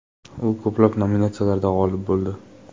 U ko‘plab nominatsiyalarda g‘olib bo‘ldi.